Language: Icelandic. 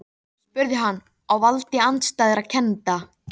spurði hann, á valdi andstæðra kennda.